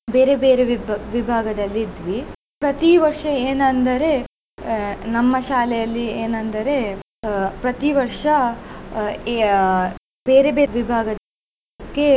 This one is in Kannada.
ಬೇರೆ ಬೇರೆ ವಿಭಾ~ ವಿಭಾಗದಲ್ಲಿ ಇದ್ವಿ ಪ್ರತಿ ವರ್ಷ ಏನಂದರೆ ಅಹ್ ನಮ್ಮ ಶಾಲೆಯಲ್ಲಿ ಏನಂದರೆ ಅಹ್ ಪ್ರತಿ ವರ್ಷ ಅಹ್ ಬೇರೆ ಬೇರೆ ವಿಭಾಗಕ್ಕೆ.